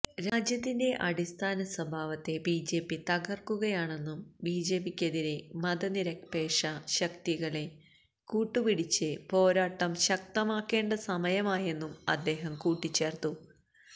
രാജ്യത്തിന്റെ അടിസ്ഥാന സ്വഭാവത്തെ ബിജെപി തകര്ക്കുകയാണെന്നും ബിജെപിക്കെതിരെ മതനിരപേക്ഷ ശക്തികളെ കൂട്ടുപിടിച്ച് പോരാട്ടം ശക്തമാക്കേണ്ട സമയമായെന്നും അദ്ദേഹം കൂട്ടിച്ചേര്ത്തു